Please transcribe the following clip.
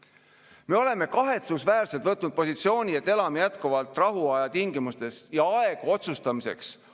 Ka Eesti abistamisel pole meil tegelikult aega ja kaitsevõime on selline, millega me peame tegelema väga kiiresti, ennaktempos.